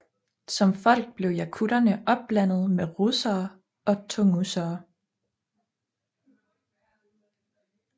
Som folk blev jakuterne opblandet med russere og tungusere